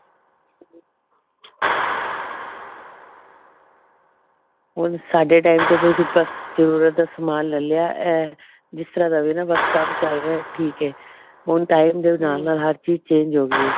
ਹੁਣ ਸਾਡੇ time ਚ ਬਸ ਜਰੂਰਤ ਦਾ ਸਮਾਨ ਲੈ ਲਿਆ ਐ ਜਿਸ ਤਰ੍ਹਾਂ ਦਾ ਵੀ ਬਸ ਕੰਮ ਚਲ ਰਿਹਾ ਠੀਕ ਐ ਹੁਣ time ਦੇ ਨਾਲ ਨਾਲ ਹਰ ਚੀਜ change ਹੋ ਗਈ ਹੈ